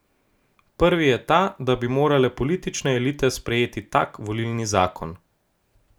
Prvi je ta, da bi morale politične elite sprejeti tak volilni zakon.